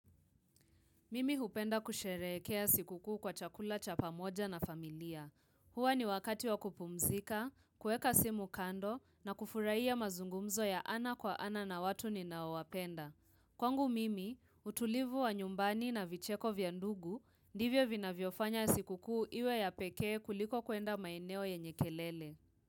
Mimi hupenda kusherehekea siku kuu kwa chakula cha pamoja na familia. Huwa ni wakati wa kupumzika, kuweka simu kando na kufurahia mazungumzo ya ana kwa ana na watu ninaowapenda. Kwangu mimi, utulivu wa nyumbani na vicheko vya ndugu, ndivyo vinavyofanya siku kuu iwe ya pekee kuliko kwenda maeneo yenye kelele.